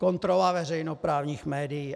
Kontrola veřejnoprávních médií.